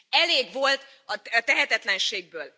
Elég volt a tehetetlenségből!